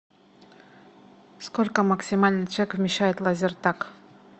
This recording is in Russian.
сколько максимально человек вмещает лазертаг